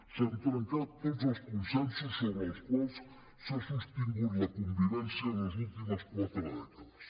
s’han trencat tots els consensos sobre els quals s’ha sostingut la convivència en les últimes quatre dècades